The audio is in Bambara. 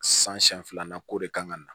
San siɲɛ filanan ko de kan ka na